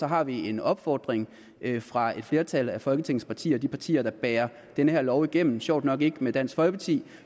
har vi en opfordring fra et flertal af folketingets partier de partier der bærer den her lov igennem og sjovt nok ikke dansk folkeparti